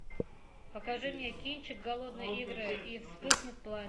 покажи мне кинчик голодные игры и вспыхнет пламя